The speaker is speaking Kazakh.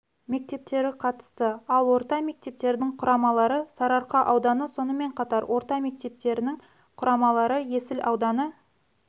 мектептері қатысты ал орта мектептердің құрамалары сарыарқа ауданы сонымен қатар орта мектептердің құрамалары есіл ауданы